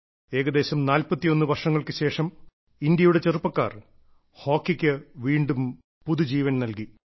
ഏകദേശം 41 വർഷങ്ങൾക്കുശേഷം ഇന്ത്യയുടെ ചെറുപ്പക്കാർ ഹോക്കിക്ക് വീണ്ടും പുതുജീവൻ നൽകി